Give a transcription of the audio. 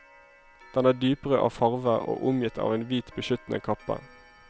Den er dyprød av farve og omgitt av en hvit beskyttende kappe.